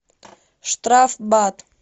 штрафбат